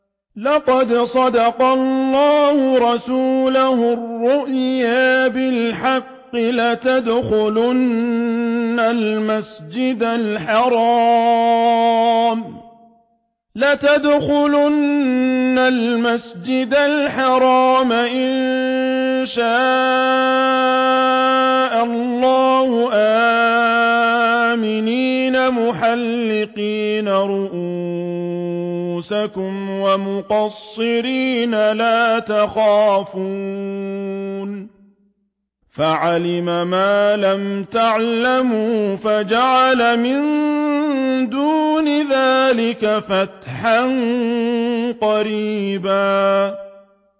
لَّقَدْ صَدَقَ اللَّهُ رَسُولَهُ الرُّؤْيَا بِالْحَقِّ ۖ لَتَدْخُلُنَّ الْمَسْجِدَ الْحَرَامَ إِن شَاءَ اللَّهُ آمِنِينَ مُحَلِّقِينَ رُءُوسَكُمْ وَمُقَصِّرِينَ لَا تَخَافُونَ ۖ فَعَلِمَ مَا لَمْ تَعْلَمُوا فَجَعَلَ مِن دُونِ ذَٰلِكَ فَتْحًا قَرِيبًا